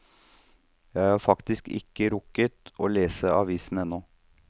Jeg har faktisk ikke rukket å lese avisen ennå.